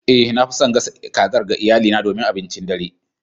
Eh, nafi son gasa kazar ga iyalina domin abincin dare.